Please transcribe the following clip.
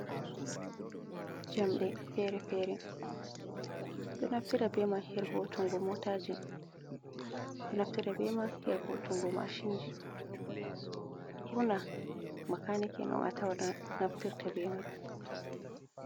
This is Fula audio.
Jamɗe fere-fere ɓeɗo naftira be man her voutungo motaji, ɓeɗo naftira be mai her voutungo mashin ji, ɓurna makani ki on naftirta bemai.